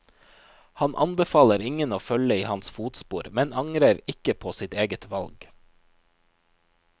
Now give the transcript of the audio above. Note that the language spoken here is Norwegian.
Han anbefaler ingen å følge i hans fotspor, men angrer ikke på sitt eget valg.